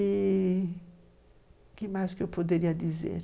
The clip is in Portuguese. E... o que mais eu poderia dizer?